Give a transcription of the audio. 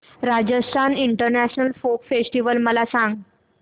Rajasthan international folk festival मला सांग